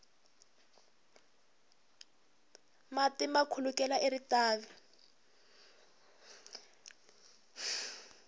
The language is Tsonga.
mati ma khulukela eritavi